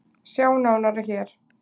Sjá nána hér